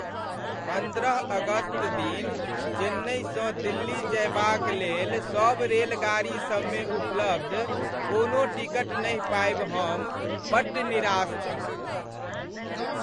पन्द्रह अगस्त दिन चेन्नइसँ दिल्ली जयबाक लेल सब रेलगाड़ी सबमे उपलब्ध कोनो टिकट नहि पाबि हम बड्ड निराश छलहुँ।